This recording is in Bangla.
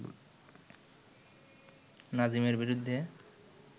নাজিমের বিরুদ্ধে